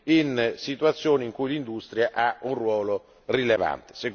in situazioni in cui l'industria ha un ruolo rilevante.